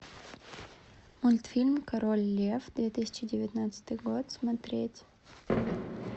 мультфильм король лев две тысячи девятнадцатый год смотреть